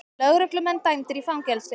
Lögreglumenn dæmdir í fangelsi